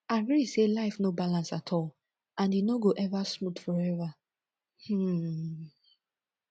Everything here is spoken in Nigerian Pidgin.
agree say life no balance at all and e no go ever smooth forever um